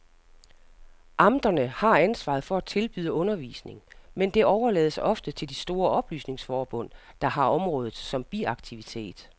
Amterne har ansvaret for at tilbyde undervisning, men det overlades ofte til de store oplysningsforbund, der har området som biaktivitet.